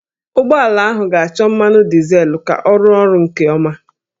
Ụgbọala ahụ ga-achọ mmanụ dizel ka ọ rụọ ọrụ nke ọma